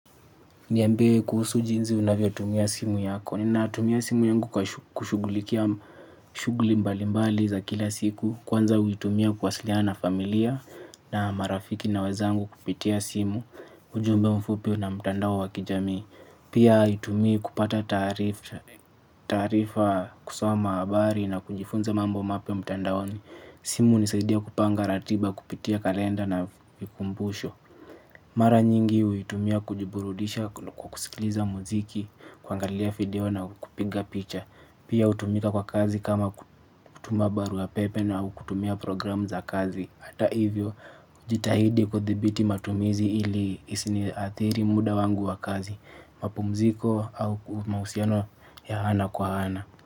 Niambie kuhusu jinzi unavyo tumia simu yako. Nina tumia simu yangu kushugulikia shuguli mbali mbali za kila siku. Kwanza huitumia kwasiliya na familia na marafiki na wezangu kupitia simu. Ujumbe mfupio na mtandao wa kijami. Pia hutumia kupata taarifa kusoma habari na kujifunza mambo mapia mtandaoni. Simu hunisaidia kupanga ratiba kupitia kalenda na kumbusho. Mara nyingi hui tumia kujiburudisha kwakusikiliza muziki kwangalia video na kupinga picha. Pia hutumika kwa kazi kama kutumabarua pepe na ukutumia program za kazi. Hata hivyo ujitahidi kuthibiti matumizi ili isini athiri muda wangu wa kazi. Mapumziko au mausiano ya ana kwa ana.